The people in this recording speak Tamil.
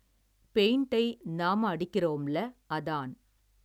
பெயிண்டை நாம அடிக்கிறோம்ல அதான்.